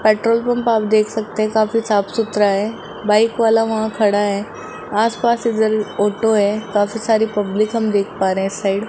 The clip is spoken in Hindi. पेट्रोल पंप आप देख सकते हैं काफी साफ सुथरा है बाइक वाला वहां खड़ा है आसपास इधर ऑटो है काफी सारी पब्लिक हम देख पा रहे हैं इस साइड ।